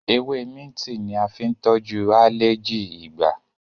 Ewe minti ní a fín tojú aleji igbà